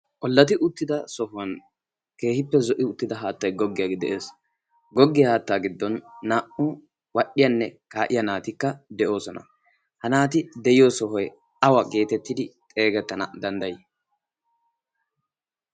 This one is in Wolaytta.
ollati uttida sohuwan keehippe zo'i uttida haattai goggiyaa de'es goggiyaa haattaa giddon naa'u wadhdhiyaanne kaa'iya naatikka de'oosona. ha naati de'iyo sohoi awa geetettidi xeegettana danddayii?